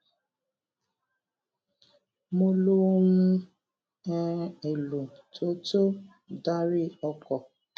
mo lo ohun um èlò tó tó ń darí ọkò